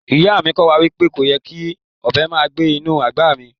Iya mi ko wa wipe koyè́ kí ọbẹ màá gbẹ̀ inú agbá mí